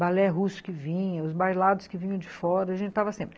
Balé russo que vinha, os bailados que vinham de fora, a gente estava sempre.